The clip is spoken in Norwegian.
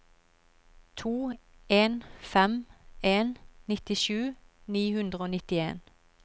to en fem en nittisju ni hundre og nittien